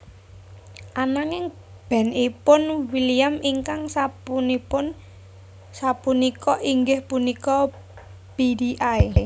Ananging band ipun William ingkang sapunika inggih punika Beady Eye